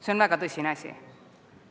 See on väga tõsine asi.